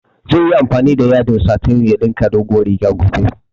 Zai yi amfani da yadin satin ya ɗinka dogowar riga gobe